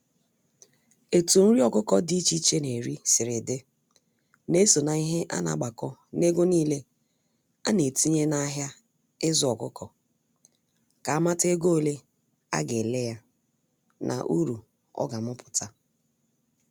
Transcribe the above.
Etụ nrị Ọkukọ d’iche iche n’eri siri dị, na-eso n'ihe ana-agbako n'ego n'ile ana-etinye n'ahia izu ọkukọ, ka amata ego ole a ga ele ya na uru ọga amuputa.